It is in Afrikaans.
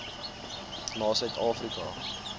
na suid afrika